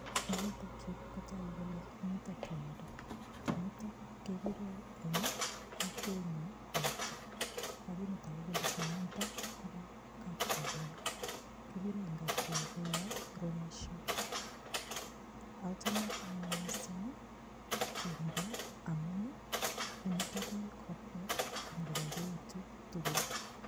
Eng yutok yu kotagu mito tumdo. Tumdo kegure eng kokwenyun koito. Lagini tagu kole tumdo kobo kapkokoyo. Kiguren eng kapkokoyo rugasho. Achame anne mising ii tumndo amun ii imutu biik kobwa konyokobaibaitu tugul.